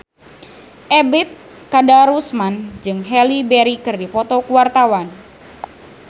Ebet Kadarusman jeung Halle Berry keur dipoto ku wartawan